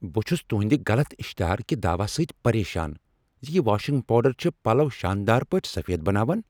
بہٕ چھس تہندِ غلط اشتہار کہ دعوو سۭتۍ پریشان ز یِہ واشنگ پاوڈر چھ پلو شاندار پٲٹھۍ سفید بناوان۔